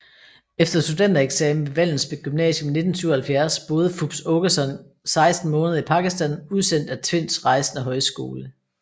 Efter studentereksamen ved Vallensbæk Gymnasium i 1977 boede Fupz Aakeson 16 måneder i Pakistan udsendt af Tvinds Rejsende Højskole